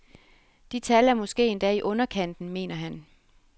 De tal er måske endda i underkanten, mener han.